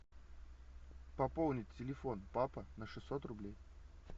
пополнить телефон папа на шестьсот рублей